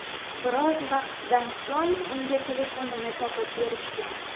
Biroz vaqtdan so‘ng unga telefonini topib berishgan.